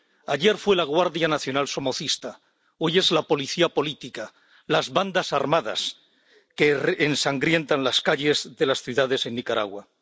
Ayer fue la Guardia Nacional somocista, hoy es la policía política, las bandas armadas que ensangrientan las calles de las ciudades en Nicaragua.